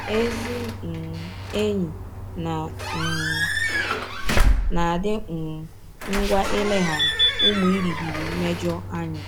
Ezị um enyi na um - adị um ngwa ileghara ụmụ ịrịghiri mmejọ anya.